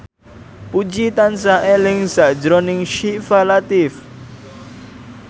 Puji tansah eling sakjroning Syifa Latief